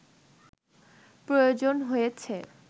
প্রয়োজন হয়েছে